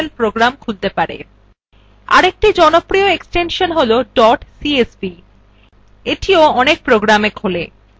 আরেকটি জনপ্রিয় file extension হল dot csv এটিও অনেক programsএ খোলে